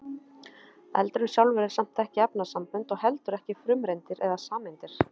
eldurinn sjálfur er samt ekki efnasambönd og heldur ekki frumeindir eða sameindir